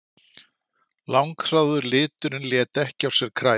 Langþráður liturinn lét ekki á sér kræla.